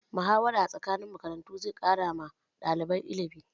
Muhawara tsakanin makarantu zai ƙara wa ɗalibai illimi.